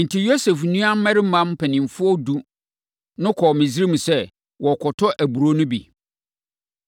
Enti, Yosef nuammarima mpanimfoɔ edu no kɔɔ Misraim sɛ wɔrekɔtɔ aburoo no bi.